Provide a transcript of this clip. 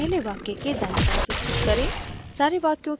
इसे पहले वाक्य के दायीं तरह स्थित करें